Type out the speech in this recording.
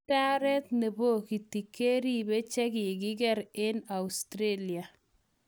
Idaret nepokiti keribe chekikiker eng Australia.